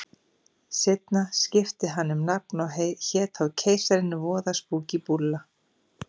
Seinna skipti hann um nafn og hét þá Keisarinn, voða spúkí búlla.